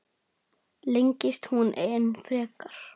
Lengist hún enn frekar?